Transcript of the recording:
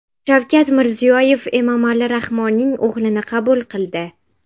Shavkat Mirziyoyev Emomali Rahmonning o‘g‘lini qabul qildi.